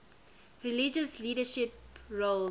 religious leadership roles